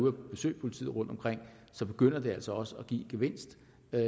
at besøge politiet rundtomkring begynder det altså også at give gevinst